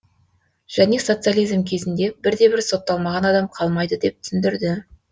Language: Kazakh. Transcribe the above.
және социализм кезінде бірде бір сотталмаған адам қалмайды деп түсіндірді